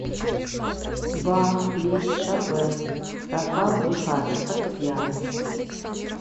бах лист шопен рафал блехач фортепиано